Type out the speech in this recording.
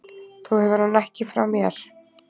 Þú hefur hann ekki frá mér.